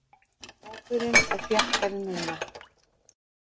Hópurinn er þéttari núna.